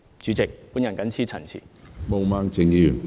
主席，我謹此陳辭。